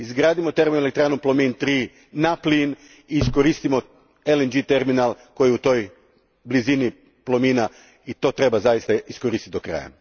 Izgradimo termoelektranu Plomin 3 na plin i iskoristimo LNG terminal koji je u blizini Plomina, i to treba zaista iskoristiti do kraja.